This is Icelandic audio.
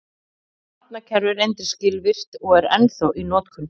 Þetta nafnakerfi reyndist skilvirkt og er ennþá í notkun.